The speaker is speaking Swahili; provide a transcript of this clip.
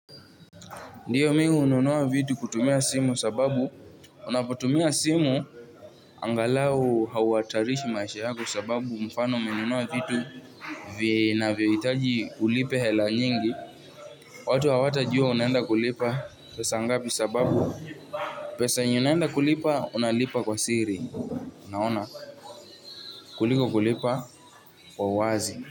Ndiyo mi hununua vitu kutumia simu sababu unapotumia simu angalau hauhatarishi maisha yako sababu mfano umenunua vitu vinavyohitaji ulipe hela nyingi watu hawatajua unaenda kulipa pesa ngapi sababu pesa yenye unaenda kulipa unalipa kwa siri naona kuliko kulipa kwa uwazi.